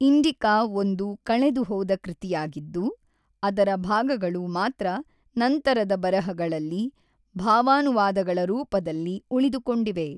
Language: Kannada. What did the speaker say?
ಇಂಡಿಕಾ ಒಂದು ಕಳೆದುಹೋದ ಕೃತಿಯಾಗಿದ್ದು, ಅದರ ಭಾಗಗಳು ಮಾತ್ರ ನಂತರದ ಬರಹಗಳಲ್ಲಿ ಭಾವಾನುವಾದಗಳ ರೂಪದಲ್ಲಿ ಉಳಿದುಕೊಂಡಿವೆ.